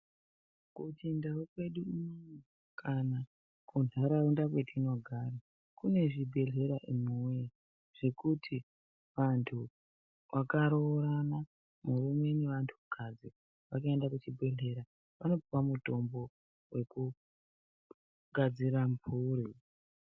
KuChiNdau kwedu kana kuntaraunda kwetinogara kune zvibhedhleya imwiwoye zvekuti vantu vakaroorana murume nevantukadzi vakaenda kuchibhedhlera vanopuwe mutombi wekugadzira mburi.